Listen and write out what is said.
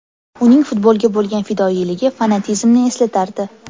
Uning futbolga bo‘lgan fidoyiligi fanatizmni eslatardi.